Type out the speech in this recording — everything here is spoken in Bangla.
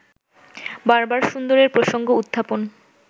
বারবার সুন্দরের প্রসঙ্গ-উত্থাপন